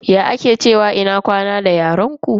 Ya ake cewa ina kwana da yaren ku?